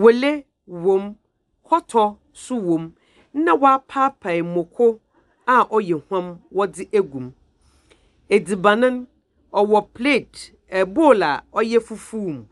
wele wom, kɔtɔ nso wom, na wapaepaɛ mako a ɔyɛ hwam ɔde egum. Ɛdziban no ɔwɔ plate, ɛ bowl a ɛyɛ fufu mu.